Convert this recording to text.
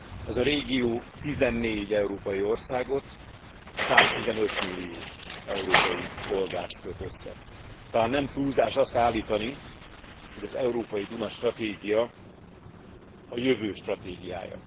Ez a régió 14 európai országot, 115 millió európai polgárt köt össze. Talán nem túlzás azt állítani, hogy az európai Duna stratégia a jövő stratégiája.